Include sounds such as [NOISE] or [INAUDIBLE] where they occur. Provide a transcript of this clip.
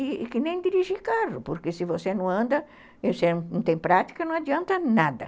É que nem dirigir carro, porque se você não anda, [UNINTELLIGIBLE] não tem prática, não adianta nada.